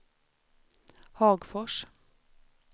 Hagfors